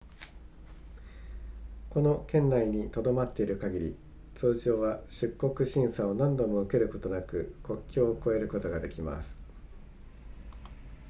この圏内に留まっている限り通常は出国審査を何度も受けることなく国境を越えることができます